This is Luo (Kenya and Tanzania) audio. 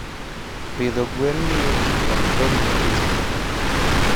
Pidho gwen miyo ji ok bed gi kech ahinya.